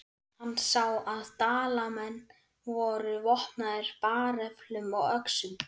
Hann sá að Dalamenn voru vopnaðir bareflum og öxum.